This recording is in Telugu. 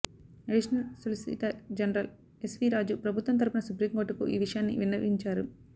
additional solicitor general S V Raju ప్రభుత్వం తరపున సుప్రీంకోర్టుకు ఈ విషయాన్ని విన్నవించారు